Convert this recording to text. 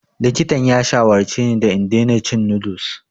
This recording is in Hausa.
Likitan ya shawarce ni da in daina cin noodles.